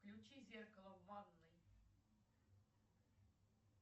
включи зеркало в ванной